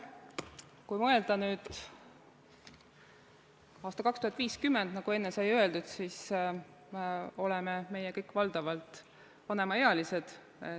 Kui mõelda nüüd aastale 2050, nagu enne sai öeldud, siis oleme meie kõik valdavalt vanemaealised.